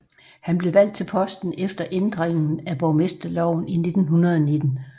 Han blev valgt til posten efter ændringen af borgmesterloven i 1919